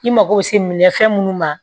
I mago bɛ se minɛfɛn minnu ma